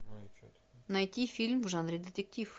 найти фильм в жанре детектив